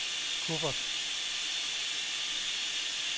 kuffert